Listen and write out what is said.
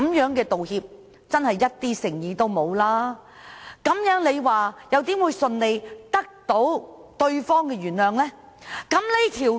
這種道歉實在欠缺誠意，試問如何能輕易得到對方原諒呢？